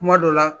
Kuma dɔ la